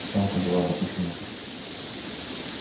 в чем-то была допущена ошибка